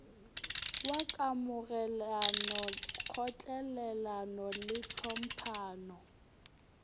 wa kamogelano kgotlelelano le tlhomphano